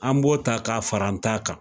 An b'o ta ka fara an ta kan.